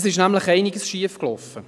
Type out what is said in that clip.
Es ist nämlich einiges schiefgelaufen.